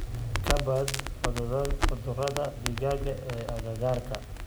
Ka baadh cudurada digaaga ee agagaarkaaga.